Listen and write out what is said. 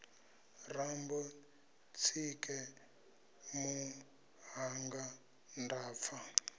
rambo tsike muṱhannga nda pfa